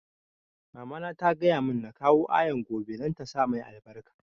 Mama na ta gaya mun na kawo Ayaan gobe don ta sa mai albarka